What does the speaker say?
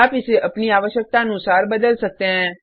आप इसे अपनी आवश्कतानुसार बदल सकते हैं